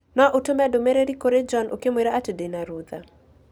No ũtũme e-mail kũrĩ John ũkĩmwĩra atĩ ndĩ na rũtha